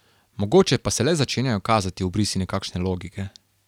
Mogoče pa se le začenjajo kazati obrisi nekakšne logike?